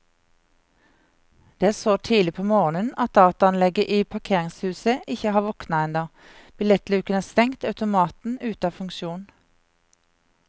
Det er så tidlig på morgenen at dataanlegget i parkeringshuset ikke har våknet ennå, billettluken er stengt, automaten ute av funksjon.